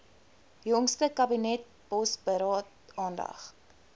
jongste kabinetsbosberaad aandag